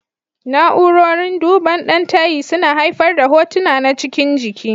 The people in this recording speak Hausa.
Na'urorin duban ɗan tayi suna haifar da hotuna na cikin jiki.